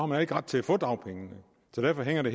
man ikke ret til at få dagpengene så derfor hænger det